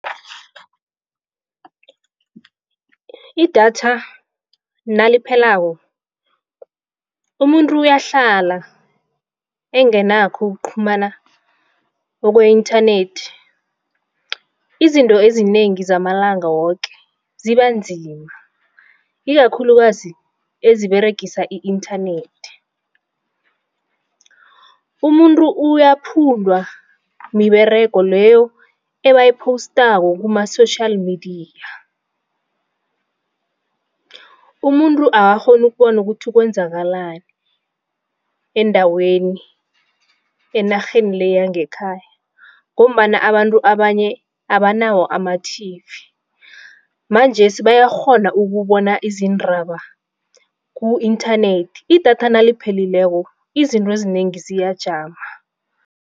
Idatha naliphelako umuntu iyahlala engenakho ukuqhumana kwe-internet. Izinto ezinengi zamalanga woke zibanzima ikakhulukazi eziberegisa i-internet. Umuntu uyaphundwa miberego leyo ebayipostako kuma-social media. Umuntu akakghoni ukubona ukuthi kwenzakalani endaweni enarheni le yangekhaya ngombana abantu abanye abanawo ama-T_V, manjesi bayakghona ukubona izindaba ku-internet. Idatha naliphelileko izinto ezinengi ziyajama.